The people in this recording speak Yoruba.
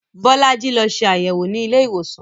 Bolaji lọ ṣe àyẹ̀wò nílé ìwòsàn